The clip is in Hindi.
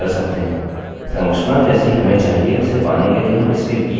यह इसके बराबर होगा और यह वर्तमान दिनाँक हो जाएगी